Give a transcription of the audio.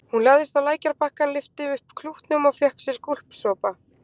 Hún lagðist á lækjarbakkann, lyfti upp klútnum og fékk sér gúlsopa.